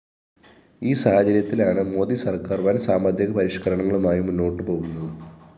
ഈ സാഹചര്യത്തിലാണ് മോദി സര്‍ക്കാര്‍ വന്‍ സാമ്പത്തിക പരിഷ്‌കരണങ്ങളുമായി മുന്നോട്ടുപോകുന്നത്